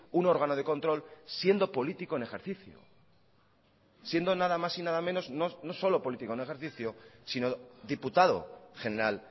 un órgano de control siendo político en ejercicio siendo nada más y nada menos no solo político en ejercicio sino diputado general